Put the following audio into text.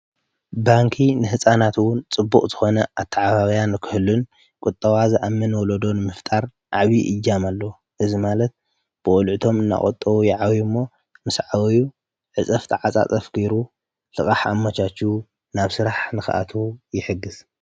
ባንኪ ንሕፃናትዉን ጽቡቕ ዘኾነ ኣተ ዓባብያን ክህልን ቊጠዋ ዝ ኣምን ወለዶን ምፍጣር ዓቢ ይጃምኣሎ እዝ ማለት ብወልዕቶም እናቖጠዉ የዓዊዩ እሞ ምስ ዕዊዩ ዕጸፍተ ዓፃጸፍ ኪይሩ ልቓሕ ኣሞሻኩ ናብ ሥራሕ ንኽኣቱ ይሕግዝ